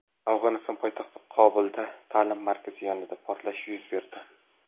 Afg‘oniston poytaxti Qobulda ta’lim markazi yonida portlash yuz berdi.